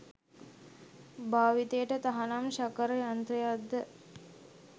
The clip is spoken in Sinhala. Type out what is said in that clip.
භාවිතයට තහනම් ශකර් යන්ත්‍රයක්ද